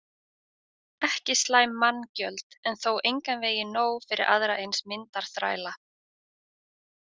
Ekki slæm manngjöld en þó engan veginn nóg fyrir aðra eins myndarþræla.